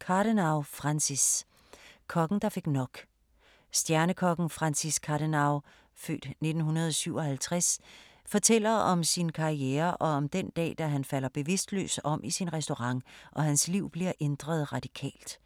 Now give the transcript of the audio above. Cardenau, Francis: Kokken der fik nok Stjernekokken Francis Cardenau (f. 1957) fortæller om sin karriere og om den dag, da han falder bevidstløs om i sin restaurant og hans liv bliver ændret radikalt.